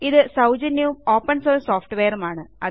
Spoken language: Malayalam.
ഇത് സൌജന്യവും ഓപ്പൺ സോഴ്സ് സോഫ്റ്റ്വെയറുമാണ്